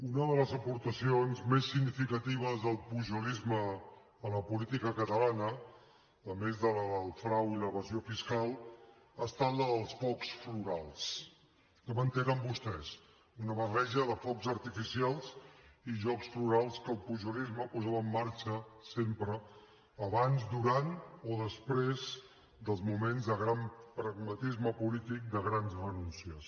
una de les aportacions més significatives del pujolisme a la política catalana a més de la del frau i l’evasió fiscal ha estat la dels focs florals ja m’entenen vostès una barreja de focs artificials i jocs florals que el pujolisme posava en marxa sempre abans durant o després dels moments de gran pragmatisme polític de grans renúncies